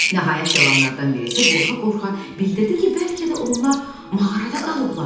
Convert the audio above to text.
Nəhayət, cavanlardan birisi qorxa-qorxa bildirdi ki, bəlkə də onlar mağarada qalıblar.